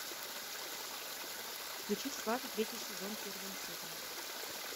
включи сваты третий сезон первая серия